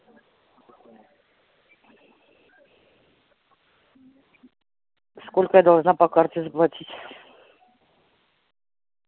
сколько я должна по карте заплатить